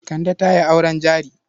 Kande ta yi auren jari.